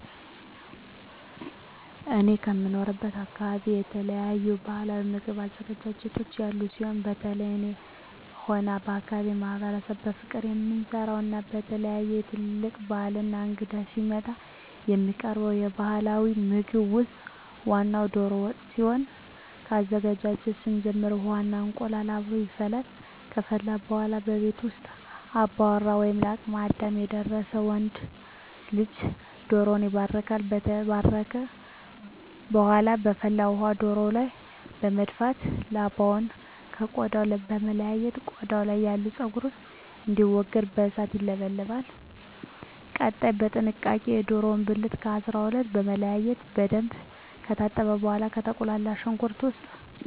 እኔ ከምኖርበት አካበቢ የተለያዩ ባህላዊ ምግብ አዘገጃጀቶች ያሉ ሲሆን በተለየ እኔም ሆነ የአካባቢዉ ማህበረሰብ በፍቅር የምንወደው እና በተለየ በትልልቅ ባህላት እና እንግዳ ሲመጣ የሚቀርበው ባህላዊ ምግብ ውስጥ ዋናው ደሮ ወጥ ሲሆን ከአዘገጃጀቱ ስንጀምር ውሃ እና እንቁላሉ አብሮ ይፈላል ከፈላ በኃላ ከቤት ውስጥ አባወራ ወይም ለአቅመ አዳም የደረሰ ወንድ ልጅ ደሮዉን ይባርካል። ከተባረከ በኃላ በፍል ውሃው ደሮው ላይ በመድፋት ላባውን ከ ቆዳው በመለየት ቆዳው ያለው ፀጉር እንዲወገድ በእሳት ይለበለባል። ቀጣይ በጥንቃቄ የደሮውን ብልት ከ 12 በመለያየት በደንብ ከታጠበ በኃላ በተቁላላው ሽንኩርት ውስጥ የደሮ ብልት አስገብቶ አብሮ በማብሰል እንቁላሉን እና የተለያዩ ቅመማ ቅመሞችን ተጨምሮ ይወጣል።